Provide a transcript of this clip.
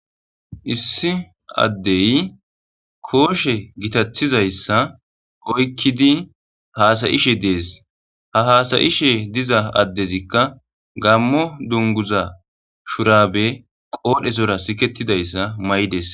issi addey kooshe gitathizayssa oykkidi haasayishe dees ha haasayishe diza addezikka gammo dunguza shurabe qoodhe zora siketidayssa may'des